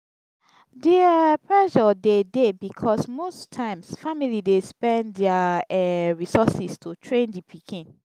di um pressure de dey because most times family dey spend their um resources to train di pikin